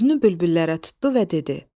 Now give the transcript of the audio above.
Üzünü bülbüllərə tutdu və dedi: